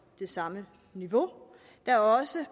det samme niveau der er også